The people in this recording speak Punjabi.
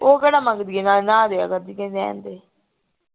ਉਹ ਕਿਹੜਾ ਮੰਗਦੀ ਹੈ ਨਾ ਨਾ ਦੀਆ ਕਰ ਉਹ ਕਹਿੰਦੀ ਰਹਿਣ ਦੇ